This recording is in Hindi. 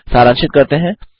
सारांशित करते हैं